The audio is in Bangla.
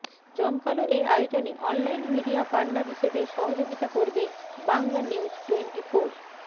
জমকালো এ আয়োজনে অনলাইন মিডিয়া পার্টনার হিসেবে সহযোগিতা করবে বাংলানিউজটোয়েন্টিফোর